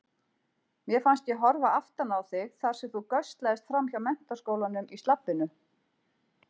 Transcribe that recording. Mér fannst ég horfa aftan á þig þar sem þú göslaðist framhjá Menntaskólanum í slabbinu.